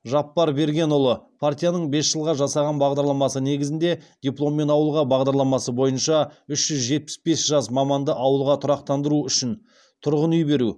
жаппарбергенұлы партияның бес жылға жасаған бағдарламасы негізінде дипломмен ауылға бағдарламасы бойынша үш жүз жетпіс жас маманды ауылға тұрақтандыру үшін тұрғын үй беру